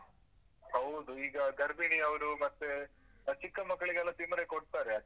ಹೌದು. ಈಗ ಗರ್ಭಿಣಿಯವ್ರು ಮತ್ತೇ ಚಿಕ್ಕಮಕ್ಳಿಗೆಲ್ಲ ತಿಮರೆ ಕೊಡ್ತಾರೆ ಅದು.